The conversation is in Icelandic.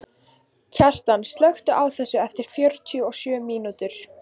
Kjartan, slökktu á þessu eftir fjörutíu og sjö mínútur.